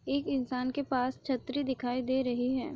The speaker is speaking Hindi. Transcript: एक इंसान के पास छत्री दिखाई दे रही है।